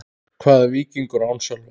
Hvað er Víkingur án Sölva?